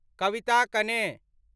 कविता कने